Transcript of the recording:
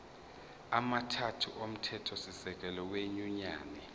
amathathu omthethosisekelo wenyunyane